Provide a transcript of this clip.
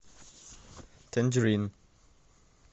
тэнжерин